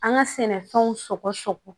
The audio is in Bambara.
An ka sɛnɛfɛnw sogo sogo